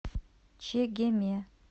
чегеме